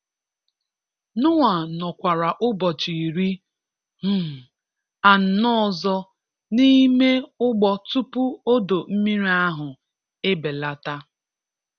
Noah nọkwara ụbọchị iri um anọ ọzọ n'ime ụgbọ tupu odo mmiri ahụ ebelata.